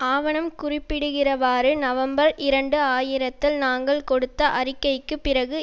ஆவணம் குறிப்பிடுகிறவாறு நவம்பர் இரண்டு ஆயிரத்தில் நாங்கள் கொடுத்த அறிக்கைக்குப் பிறகு